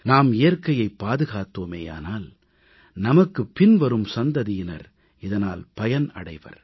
நாம் இயற்கையைப் பாதுகாத்தோமேயானால் நமக்குப் பின்வரும் சந்ததியினர் இதனால் பயன் அடைவர்